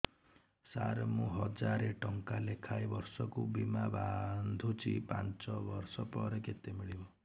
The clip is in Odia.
ସାର ମୁଁ ହଜାରେ ଟଂକା ଲେଖାଏଁ ବର୍ଷକୁ ବୀମା ବାଂଧୁଛି ପାଞ୍ଚ ବର୍ଷ ପରେ କେତେ ମିଳିବ